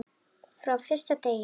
Frá fyrsta degi.